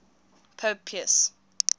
pope pius